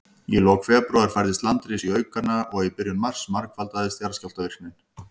Í lok febrúar færðist landris í aukana, og í byrjun mars margfaldaðist jarðskjálftavirknin.